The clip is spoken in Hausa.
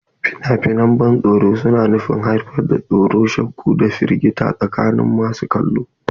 Fina-finan ban tsoro suna nufin haifar da tsoro, shakku, da firgita tsakanin masu kallo.